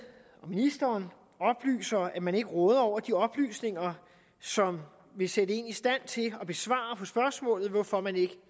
og ministeren oplyser at man ikke råder over de oplysninger som vil sætte dem i stand til at besvare spørgsmålet hvorfor man ikke